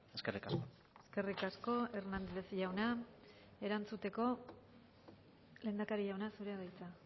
eskerrik asko eskerrik asko hernández jauna erantzuteko lehendakari jauna zurea da hitza